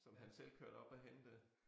Som han selv kørte op og hentede